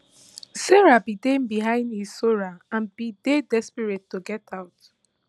sarah bin dey behind hissora and bin dey desperate to get out